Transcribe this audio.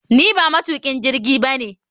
Ni ba matukin jirgi ba ne